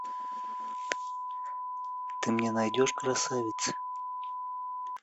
ты мне найдешь красавиц